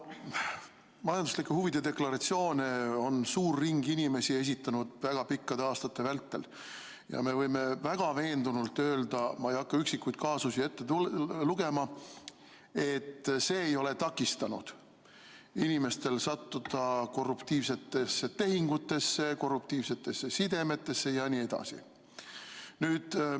Majanduslike huvide deklaratsioone on suur ring inimesi esitanud väga pikkade aastate vältel ja me võime veendunult öelda, ma ei hakka üksikuid kaasusi ette lugema, et see ei ole takistanud inimestel sattuda korruptiivsetesse tehingutesse, korruptiivsetesse sidemetesse jne.